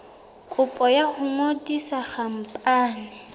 kopo ya ho ngodisa khampani